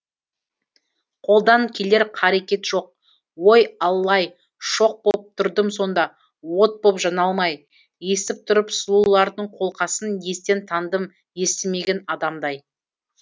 қолдан келер қарекет жоқ ой алла ай шоқ боп тұрдым сонда от боп жана алмай естіп тұрып сұлулардың қолқасын естен тандым естімеген адамдай